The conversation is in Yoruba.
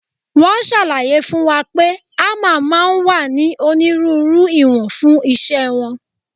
Wọ́n ṣàlàyé fún wa pé hámà máa ń wá ní onírúurú ìwọ̀n fún iṣẹ́ wọn.